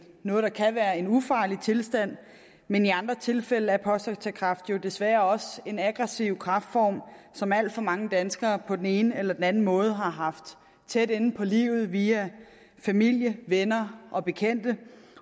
noget der kan være en ufarlig tilstand men i andre tilfælde er prostatakræft jo desværre også en aggressiv kræftform som alt for mange danskere på den ene eller den anden måde har haft tæt inde på livet via familie venner og bekendte